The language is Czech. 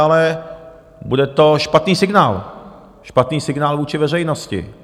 Ale bude to špatný signál, špatný signál vůči veřejnosti.